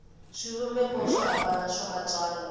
swivumbeko swo hambana swa matsalwa